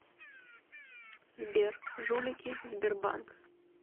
сбер жулики сбербанк